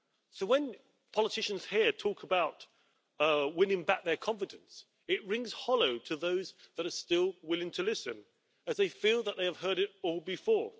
So when politicians here talk about winning back their confidence, it rings hollow to those that are still willing to listen, as they feel that they have heard it all before.